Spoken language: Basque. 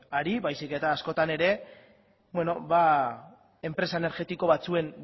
ari baizik eta askotan ere enpresa energetiko batzuen